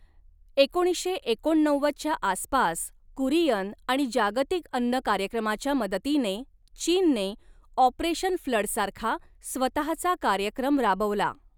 एकोणीसशे एकोणनव्वदच्या आसपास, कुरियन आणि जागतिक अन्न कार्यक्रमाच्या मदतीने चीनने, ऑपरेशन फ्लडसारखा स्वतहाचा कार्यक्रम राबवला.